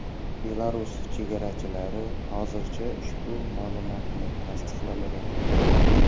Belarus chegarachilari hozircha ushbu ma’lumotni tasdiqlamagan.